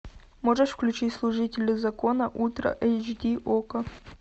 можешь включить служители закона ультра эйч ди окко